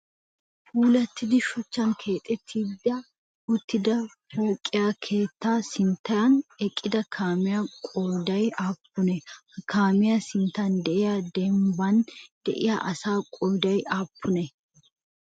Puulatti shuchchan keexettida uttida pooqe keettaa sinttan eqqida kaamiya qooday aappunee? Ha kaamiyaa sinttan diya dembban de'iya asaa qooday aappunee?